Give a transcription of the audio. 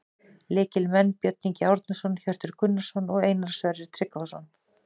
Lykilmenn: Björn Ingi Árnason, Hjörtur Gunnarsson og Einar Sverrir Tryggvason